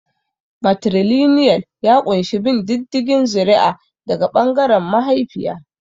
Matrilinial ya ƙunshi bin diddigin zuri'a daga ɓangaren mahaifiya.